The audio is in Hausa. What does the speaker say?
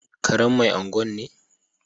Karen Mai Gwan ne